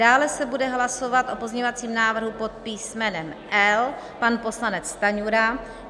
Dále se bude hlasovat o pozměňovacím návrhu pod písmenem L - pan poslanec Stanjura.